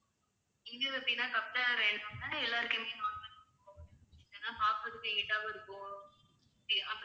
இங்க எப்படினா எல்லாருக்குமே